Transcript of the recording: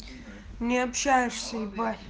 не общаешься и